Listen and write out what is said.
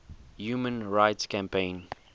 human rights campaign